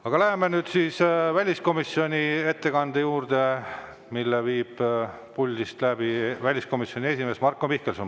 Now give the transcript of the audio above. Aga läheme nüüd väliskomisjoni ettekande juurde, mille teeb väliskomisjoni esimees Marko Mihkelson.